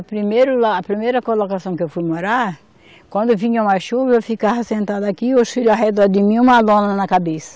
O primeiro lar, a primeira colocação que eu fui morar, quando vinha uma chuva, eu ficava sentada aqui, os filhos ao redor de mim, uma lona na cabeça.